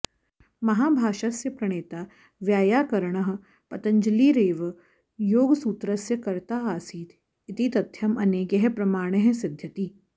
महाभाष्यस्य प्रणेता वैय्याकरणः पतञ्जलिरेव योगसूत्रस्य कर्त्ता आसीत् इति तथ्यम् अनेकैः प्रमाणैः सिदध्यति